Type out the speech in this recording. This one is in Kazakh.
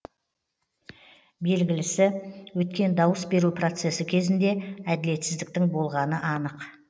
белгілісі өткен дауыс беру процесі кезінде әділетсіздіктің болғаны анық